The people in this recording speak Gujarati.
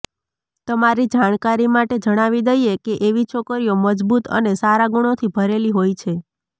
તમારી જાણકારી માટે જણાવી દઈએ કે એવી છોકરીઓ મજબૂત અને સારા ગુણોથી ભરેલી હોય છે